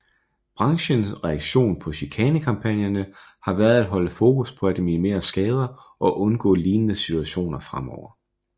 Branchens reaktion på chikanekampagnerne har været at holde fokus på at minimere skader og undgå lignende situationer fremover